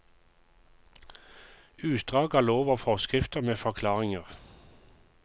Utdrag av lov og forskrifter med forklaringer.